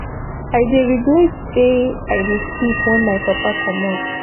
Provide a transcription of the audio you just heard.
I dey regret say I dey sleep wen my papa comot.